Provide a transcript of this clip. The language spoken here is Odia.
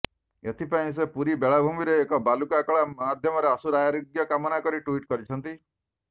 ଏଥିପାଇଁ ସେ ପୁରୀ ବେଳାଭୂମିରେ ଏକ ବାଲୁକା କଳା ମାଧ୍ୟମରେ ଆଶୁ ଆରୋଗ୍ୟ କାମନା କରି ଟ୍ୱିଟ୍ କରିଛନ୍ତି